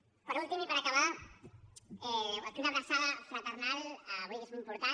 per últim i per acabar una abraçada fraternal avui que és un dia important